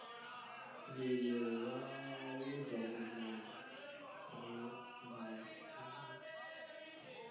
mlilo wawudlongodlongo ungalawuleki